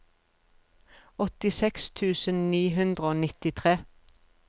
åttiseks tusen ni hundre og nittitre